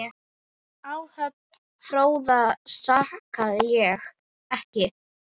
Áhöfn Fróða sakaði ekki.